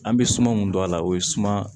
An bɛ suma mun don a la o ye suma